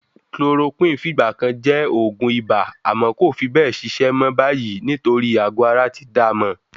Chloroquine fìgbà kan jẹ́ oògùn ibà àmọ́ kò fi bẹ́ẹ̀ ṣiṣẹ́ mọ́ báyìí nítorí àgọ̀ ara ti dá a mọ̀.